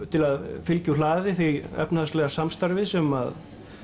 til að fylgja úr hlaði því efnahagslega samstarfi sem